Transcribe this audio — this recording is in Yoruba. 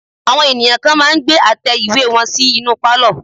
Àwọn ènìyàn kan máà ń gbé àtẹ ìwé wọn sí inú pálọ̀.